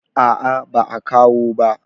a a ba a kawo ba